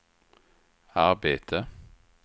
arbete